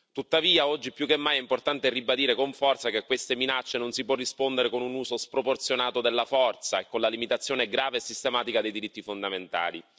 Tuttavia, oggi più che mai è importante ribadire con forza che a queste minacce non si può rispondere con un uso sproporzionato della forza e con la limitazione grave e sistematica dei diritti fondamentali.